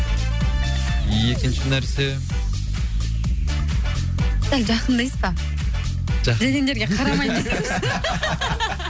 екінші нәрсе сәл жақындайсыз ба үйленгендерге қарамаймын десеңізші